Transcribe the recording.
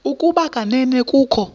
ukuba kanene kukho